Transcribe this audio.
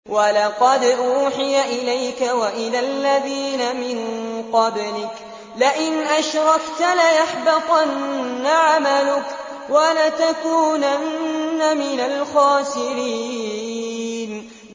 وَلَقَدْ أُوحِيَ إِلَيْكَ وَإِلَى الَّذِينَ مِن قَبْلِكَ لَئِنْ أَشْرَكْتَ لَيَحْبَطَنَّ عَمَلُكَ وَلَتَكُونَنَّ مِنَ الْخَاسِرِينَ